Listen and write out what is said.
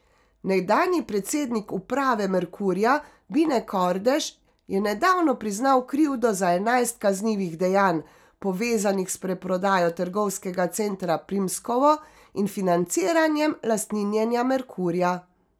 Nekdanji predsednik uprave Merkurja Bine Kordež je nedavno priznal krivdo za enajst kaznivih dejanj, povezanih s preprodajo trgovskega centra Primskovo in financiranjem lastninjenja Merkurja.